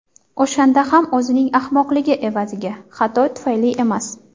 O‘shanda ham o‘zining ahmoqligi evaziga, xato tufayli emas.